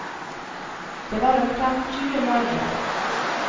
Det var omtrent tjue mann i den.